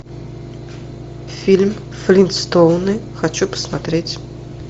фильм флинстоуны хочу посмотреть